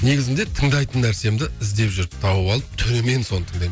негізінде тыңдайтын нәрсемді іздеп жүріп тауып алып түнімен соны тыңдаймын